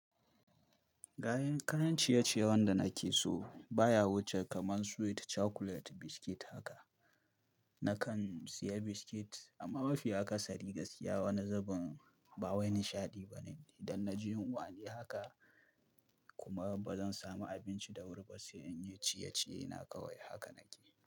Gayen kayan ciye-ciyen wanda nake so baya wuce kaman sweet chocolate biscuit haka. Nakan siya biscuit amma mafi aka sari gaskiya wanzaban ba wai nishaɗi bane. Idan na ji yunwa ne haka kuma bazan samu abinci da wuri ba, sai in yi ciye-ciye na kawai haka nake.